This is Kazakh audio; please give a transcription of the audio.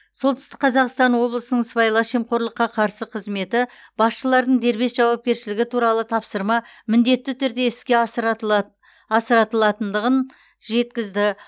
солтүстік қазақстан облысының сыбайлас жемқорлыққа қарсы қызметі басшылардың дербес жауапкершілігі туралы тапсырма міндетті түрде іске асыратылатындығын жеткізді